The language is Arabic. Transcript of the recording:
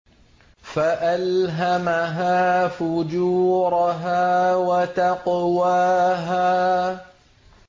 فَأَلْهَمَهَا فُجُورَهَا وَتَقْوَاهَا